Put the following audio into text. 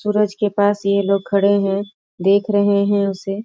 सूरज के पास ये लोग खड़े हैं देख रहे हैं उसे।